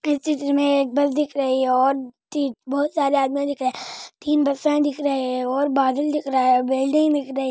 फिर चित्र में एक बॉल्ब देखे रहा है और बहुत साडी आदमी दिक् रही हेथीं बसस्टैंड दिक् रहा हे ओवर बिल्डिंग दिक् रहे हे --